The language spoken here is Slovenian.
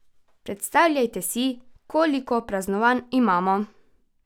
Predstavljajte si, koliko praznovanj imamo!